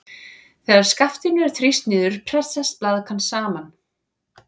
Þegar skaftinu er þrýst niður pressast blaðkan saman.